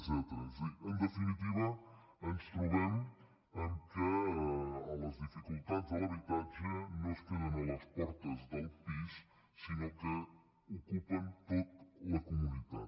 és a dir en definitiva ens trobem que les dificultats de l’habitatge no es queden a les portes del pis sinó que ocupen tota la comunitat